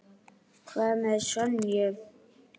Hvað með Sonju?